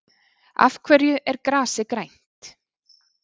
Af hverju er grasið grænt?